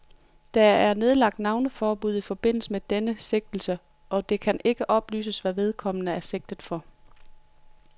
Der er nedlagt navneforbud i forbindelse med denne sigtelse, og det kan ikke oplyses, hvad vedkommende er sigtet for.